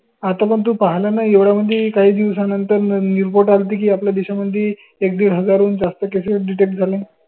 आता पर्यंत पाहाल न एवढ्या म्हनजे काही दिवसा नंतर report आल्ती की, आपल्या देशामंदी एक डिड हजार हुन जास्त cases detect झाले.